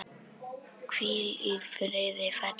Hvíl í friði, fallegi maður.